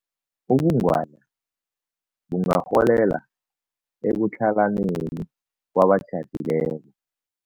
Ubungwadla bungarholela ekutlhalaneni kwabatjhadileko.